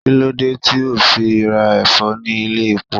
Kí ló dé tí o fi ra Ẹ̀fọ́ ní ilé-epo?